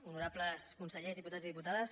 honorables consellers diputats i diputades